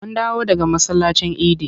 Mun dawo daga masallacin idi.